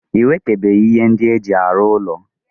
I wetebeghi ihe ndi eji aru ulo.